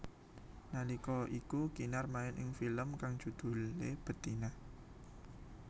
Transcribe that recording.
Nalika iku Kinar main ing film kang judhulé Betina